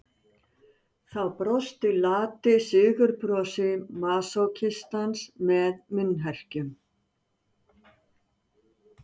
Þá brosti lati sigurbrosi masókistans með munnherkjum.